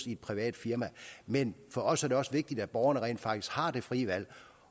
i et privat firma men for os er det også vigtigt at borgerne rent faktisk har det frie valg